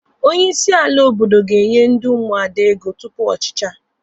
Onye isi ala obodo ga-enye ndị Ụmụada ego tupu ọ chichaa.